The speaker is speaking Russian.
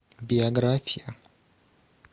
биография